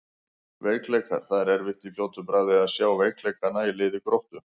Veikleikar: Það er erfitt í fljótu bragði að sjá veikleikana í liði Gróttu.